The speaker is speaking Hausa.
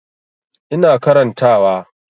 Ina karanta wa